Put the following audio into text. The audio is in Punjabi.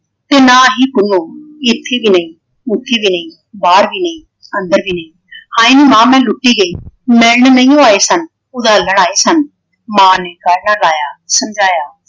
ਤੇ ਨਾ ਹੀ ਪੁੰਨੂੰ ਇੱਥੇ ਵੀਂ ਨਹੀਂ ਉਥੇ ਵੀਂ ਨਹੀਂ ਬਾਹਰ ਵੀ ਨਹੀਂ ਅੰਦਰ ਵੀ ਨਹੀਂ। ਹਾਏ ਨੀ ਮਾਂ ਮੈਂ ਲੁੱਟੀ ਗਈ। ਮਿਲਣ ਨਹੀ ਆਏ ਸਨ । ਉਧਾਲਨ ਆਏ ਸਨ ਮਾਂ ਨੇ ਗੱਲ ਨਾਲ ਲਾਇਆ ਸਮਝਾਇਆ।